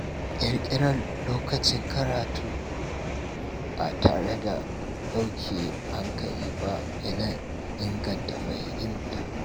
Ƙirƙirar lokacin karatu ba tare da ɗauke hankali ba yana inganta fahimta.